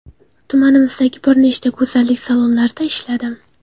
Tumanimizdagi bir nechta go‘zallik salonlarida ishladim.